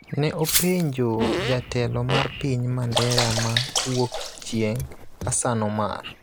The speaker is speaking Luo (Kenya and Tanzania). ne openjo jatelo mar piny Mandera ma Wuokchieng', Hassan Omar.